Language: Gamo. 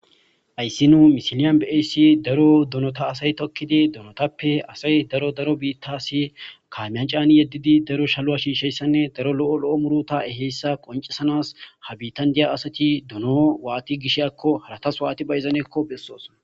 Ayssi nuu misiliyan beeyssi daro donota asay tokkidi donotappe asay daro daro biittasi kaamiyan caani yeddidi daro shaluwa shiisheyssanne daro lo'o loo muruta eheyssa qoncesanas ha biittan diya asati dono waati gish akko halatas waati ba ezaneekko bessos.